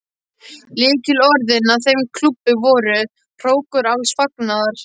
Lykilorðin að þeim klúbbi voru: hrókur alls fagnaðar.